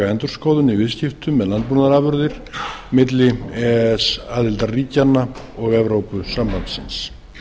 endurskoðun á viðskiptum með landbúnaðarafurðir milli e e s aðildarríkjanna og evrópusambandsins